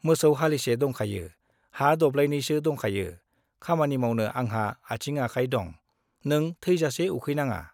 मोसौ हालिसे दंखायो, हा दब्लायनैसो दंखायो, खामानि मावनो आंहा आंथिं आखाय दं, नों थैजासे उखैनाङा।